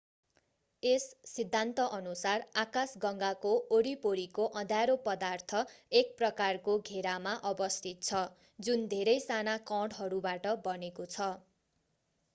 यस सिद्धान्तअनुसार आकाशगङ्गाको वरिपरिको अँध्यारो पदार्थ एक प्रकारको घेरामा अवस्थित छ जुन धेरै साना कणहरूबाट बनेको छ